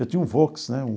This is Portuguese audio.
Eu tinha um Vox, né, um?